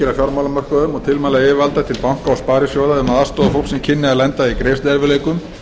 sinni áfram og tilmæla yfirvalda til banka og sparisjóða um að aðstoða fólk sem kynni að lenda í greiðsluerfiðleikum